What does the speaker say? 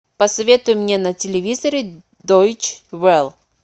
посоветуй мне на телевизоре дойч велл